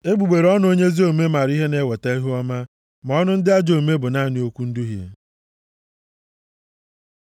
Egbugbere ọnụ onye ezi omume mara ihe na-eweta ihuọma, ma ọnụ ndị ajọ omume bụ naanị okwu nduhie.